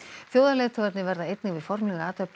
þjóðarleiðtogarnir verða einnig við formlega athöfn í